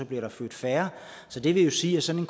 bliver der født færre så det vil jo sige at sådan